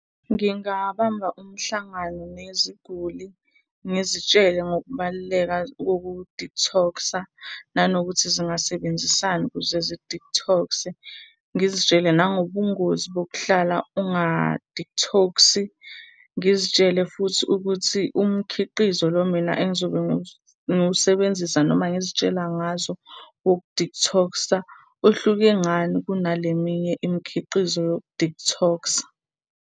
Ngingabamba umhlangano neziguli ngizitshele ngokubaluleka koku-detox-a, nanokuthi zingasebenzisani ukuze zi-detox-e. Ngizitshele nangobungozi bokuhlala unga-detox-i. Ngizitshele futhi ukuthi umkhiqizo lo mina engizobe ngiwusebenzisa, noma ngizitshela ngazo woku-detox-a uhluke ngani kunale eminye imikhiqizo yoku-detox-a.